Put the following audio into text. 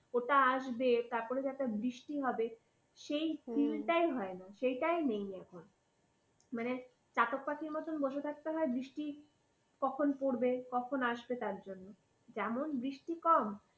ওটা আসবে, তারপরে যে একটা বৃষ্টি হবে হু সেই feel টাই হয় না। সেইটাই নেই এখন। মানে চাতক পাখির মতন বসে থাকতে হয় বৃষ্টি কখন পড়বে কখন আসবে তার জন্য। যেমন বৃষ্টি কম,